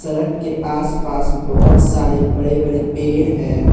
Duck के आस पास बहोत सारे बड़े बड़े सारे पेड़ है।